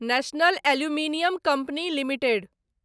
national aluminium company limited